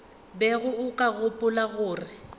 bego o ka gopola gore